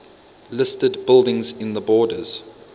listed buildings in the borders